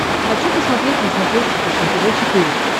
хочу посмотреть на смотрешке фэшен тв четыре к